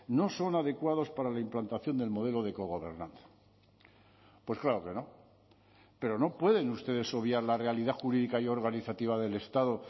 no son adecuados para la implantación del modelo de cogobernanza pues claro que no pero no pueden ustedes obviar la realidad jurídica y organizativa del estado